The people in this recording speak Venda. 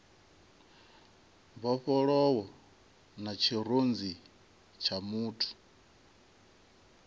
mbofholowo na tshirunzi tsha muthu